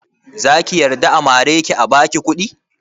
Zaki yarda a mare ki a baki kuɗi?